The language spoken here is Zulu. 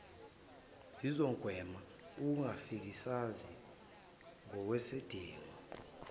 zizogwema ukufakazisa okungenasidingo